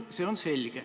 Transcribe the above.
See on selge.